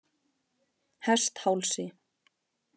Hesthálsi